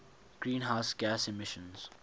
greenhouse gas emissions